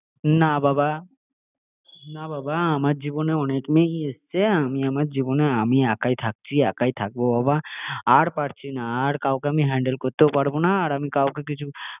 ভালোই লাগে না বাবা না বাবা আমার জীবনে অনেক মেয়েই এসেছে আমি আমার জীবনে আমি একাই থাকছি, একাই থাকবো বাবা আর পারছি না, আর কাওকে আমি হেন্ডেল করতেও পারবো না আর আমি কাও কে কিছু